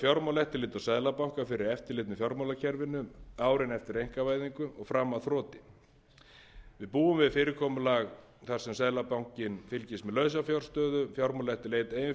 fjármálaeftirlit og seðlabanka fyrir eftirlit með fjármálakerfinu árin eftir einkavæðingu og fram að þroti við búum við fyrirkomulag þar sem seðlabankinn fylgist með lausafjárstöðu fjármálaeftirliti stöðu og rekstri